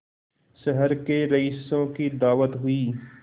शहर के रईसों की दावत हुई